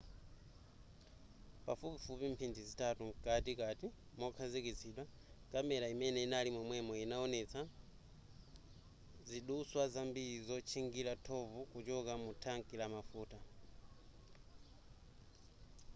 pafupifupi mphindi zitatu mkatikati mokhazikitsidwa kamera imene inali momwemo inawonetsa zidutswa zambiri zotchingira thovu kuchoka mu thanki la mafuta